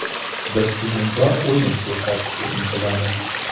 Biz hujumkor o‘yin ko‘rsatishga intilamiz.